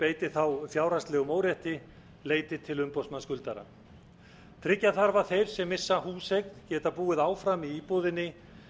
beiti þá fjárhagslegum órétti leiti til umboðsmanns skuldar tryggja þarf að þeir sem missa húseign geta búið áfram í íbúðinni